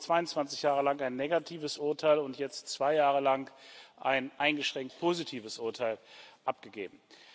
Davon haben wir 22 Jahre lang ein negatives Urteil und jetzt zwei Jahre lang ein eingeschränkt positives Urteil abgegeben.